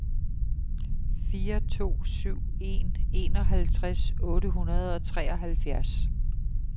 fire to syv en enoghalvtreds otte hundrede og treoghalvfjerds